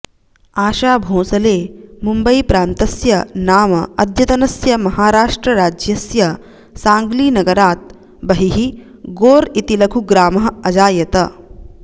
आशा भोंसले मुम्बैप्रान्तस्य नाम अद्यतनस्य महाराष्ट्रराज्यस्य साङ्ग्लीनगरात् बहिः गोर् इति लघुग्रामः अजायत